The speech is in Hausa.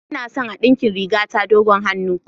Ina son a dinkin rigata dogon hannu.